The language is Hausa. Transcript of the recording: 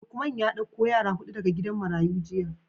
Lukeman ya dauko yara hudu daga gidan marayu jiya.